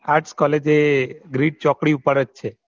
Arts college એ bridge ચોકડી પર જ છે